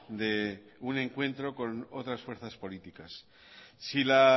de un encuentro con otras fuerzas políticas si la